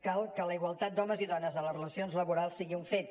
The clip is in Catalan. cal que la igualtat d’homes i dones en les relacions laborals sigui un fet